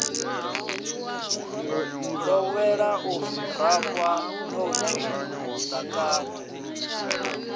ḓowela u rafha ṋotshi ḓakani